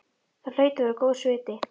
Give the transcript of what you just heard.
Það hlaut að vera góðs viti.